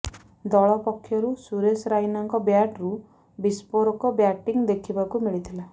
ଦଳ ପକ୍ଷରୁ ସୁରେଶ ରାଇନାଙ୍କ ବ୍ୟାଟ୍ରୁ ବିସ୍ଫୋରକ ବ୍ୟାଟିଂ ଦେଖିବାକୁ ମିଳିଥିଲା